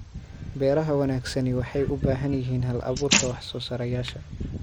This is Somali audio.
Beeraha wanaagsani waxay u baahan yihiin hal-abuurka wax-soo-saareyaasha.